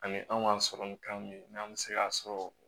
Ani an ka sɔrɔ ni kan min ye n'an bɛ se k'a sɔrɔ